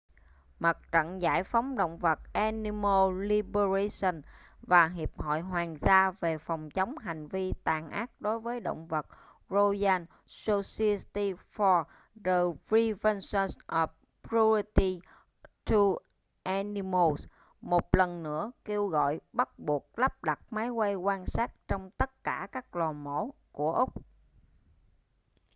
mặt trận giải phóng động vật animal liberation và hiệp hội hoàng gia về phòng chống hành vi tàn ác đối với động vật royal society for the prevention of cruelty to animals một lần nữa kêu gọi bắt buộc lắp đặt máy quay quan sát trong tất cả các lò mổ của úc